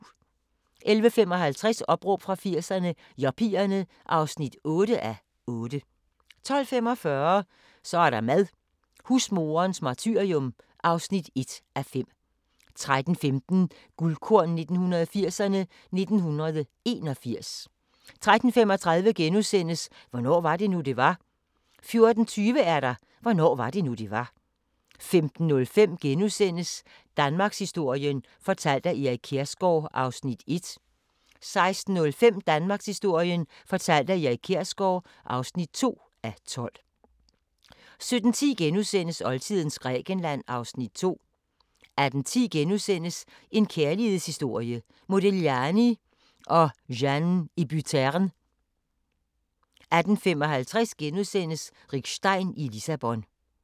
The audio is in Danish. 11:55: Opråb fra 80'erne – Yuppierne (8:8) 12:45: Så er der mad – husmoderens martyrium (1:5) 13:15: Guldkorn 1980'erne: 1981 13:35: Hvornår var det nu, det var? * 14:20: Hvornår var det nu, det var? 15:05: Danmarkshistorien fortalt af Erik Kjersgaard (1:12)* 16:05: Danmarkshistorien fortalt af Erik Kjersgaard (2:12) 17:10: Oldtidens Grækenland (Afs. 2)* 18:10: En kærlighedshistorie – Modigliani & Jeanne Hébuterne * 18:55: Rick Stein i Lissabon *